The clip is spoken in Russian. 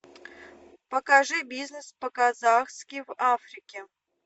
покажи бизнес по казахски в африке